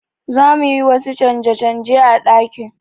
Za mu yi wasu canje-canje a ɗakin.